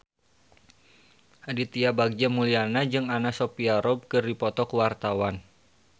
Aditya Bagja Mulyana jeung Anna Sophia Robb keur dipoto ku wartawan